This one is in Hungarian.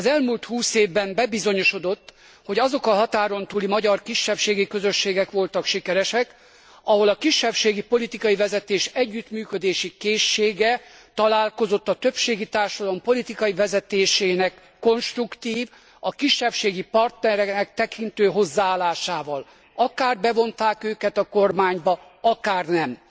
Az elmúlt 20 évben bebizonyosodott, hogy azok a határon túli magyar kisebbségi közösségek voltak sikeresek, ahol a kisebbségi politikai vezetés együttműködési készsége találkozott a többségi társadalom politikai vezetésének konstruktív, a kisebbséget partnereknek tekintő hozzáállásával, akár bevonták őket a kormányba, akár nem.